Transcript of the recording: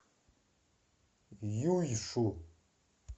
юйшу